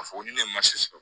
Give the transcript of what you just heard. A fɔ ko ne ye sɔrɔ